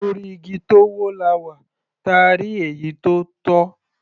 Orí igi tó wọ́, làá wà, táà rí èyí tó tọ́.